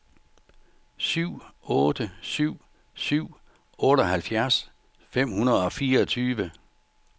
syv otte syv syv otteoghalvfjerds fem hundrede og fireogtyve